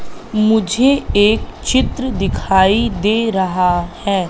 मुझे एक चित्र दिखाई दे रहा हैं।